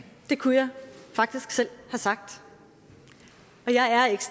det kunne jeg faktisk selv have sagt og jeg er ikke